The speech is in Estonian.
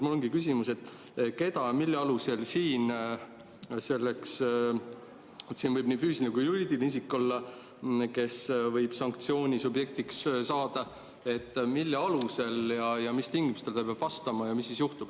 Mul ongi küsimus, kes, milline füüsiline või ka juriidiline isik ja mille alusel võib sanktsiooni subjektiks saada, mis tingimustele ta peab vastama ja mis siis juhtub.